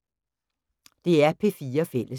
DR P4 Fælles